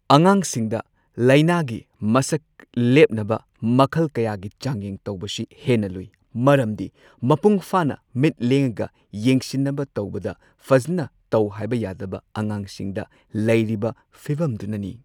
ꯑꯉꯥꯡꯁꯤꯡꯗ, ꯂꯥꯢꯅꯥꯒꯤ ꯃꯁꯛ ꯂꯦꯞꯅꯕ ꯃꯈꯜ ꯀꯌꯥꯒꯤ ꯆꯥꯡꯌꯦꯡ ꯇꯧꯕꯁꯤ ꯍꯦꯟꯅ ꯂꯨꯢ ꯃꯔꯝꯗꯤ ꯃꯄꯨꯡꯐꯥꯅ ꯃꯤꯠ ꯂꯦꯡꯉꯒ ꯌꯦꯡꯁꯤꯟꯅꯕ ꯇꯧꯕꯗ ꯐꯖꯅ ꯇꯧꯍꯥꯏꯕ ꯌꯥꯗꯕ ꯑꯉꯥꯡꯁꯤꯡꯗ ꯂꯩꯔꯤꯕ ꯐꯤꯕꯝꯗꯨꯅꯅꯤ꯫